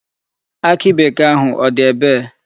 Akị bekee ahụ, ọ dị ebee?